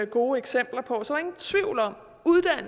gode eksempler på